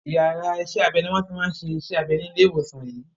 Iyàrá isẹ́ abẹ ni wọ́n ti máa ń ṣe iṣẹ́ abẹ ní ilé ìwòsàn yìí.